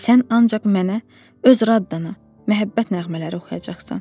Sən ancaq mənə, öz raddana, məhəbbət nəğmələri oxuyacaqsan.